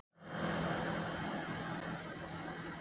Punda virði??!?